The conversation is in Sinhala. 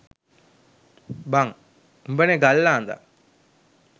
බං උඹනෙ ගල් ආඳා